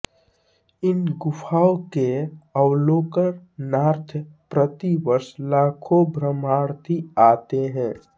इन गुफाओं के अवलोकनार्थ प्रति वर्ष लाखों भ्रमणार्थी आते हैं